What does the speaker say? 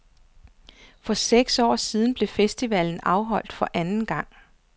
For seks år siden blev festivalen afholdt for anden gang.